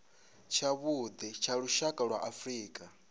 tshavhuḓi tsha lushaka lwa afrika